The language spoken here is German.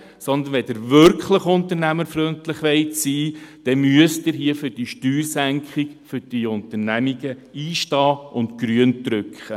Wenn Sie wirklich unternehmerfreundlich sein wollen, müssen Sie für diese Steuersenkung für die Unternehmen einstehen und auf Grün drücken.